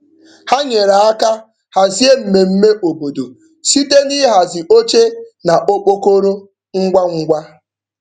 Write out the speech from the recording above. Ha nyere aka hazie mmemme obodo site n'ịhazi oche na okpokoro ngwa ngwa.